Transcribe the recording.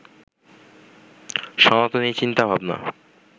সনাতনী চিন্তাভাবনা